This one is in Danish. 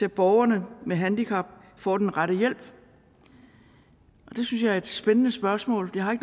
at borgere med handicap får den rette hjælp det synes jeg er et spændende spørgsmål jeg har